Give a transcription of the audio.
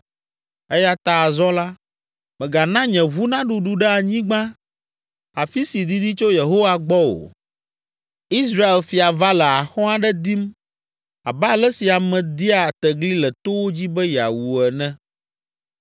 Eya ta azɔ la, mègana nye ʋu naɖuɖu ɖe anyigba, afi si didi tso Yehowa gbɔ o. Israel fia va le axɔ̃ aɖe dim abe ale si ame dia tegli le towo dzi be yeawu ene.”